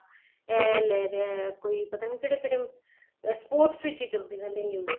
ਇਹ ਲੈ ਰਿਹਾ ਕੋਈ ਪਤਾ ਨੀਂ ਕਹਿੜੇ ਕਹਿੜੇ sports ਵਿੱਚ ਈ ਚੱਲਦੀ ਰਹਿੰਦੀ news